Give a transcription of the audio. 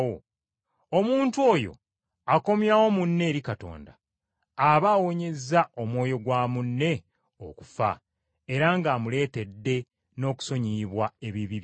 omuntu oyo akomyawo munne eri Katonda, aba awonyezza omwoyo gwa munne okufa era ng’amuleetedde n’okusonyiyibwa ebibi byonna.